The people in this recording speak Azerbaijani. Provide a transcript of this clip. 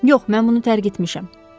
Yox, mən bunu tərk etmişəm.